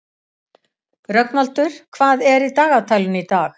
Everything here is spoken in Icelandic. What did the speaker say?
Rögnvaldur, hvað er í dagatalinu í dag?